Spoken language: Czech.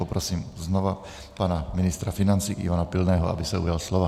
Poprosím znovu pana ministra financí Ivana Pilného, aby se ujal slova.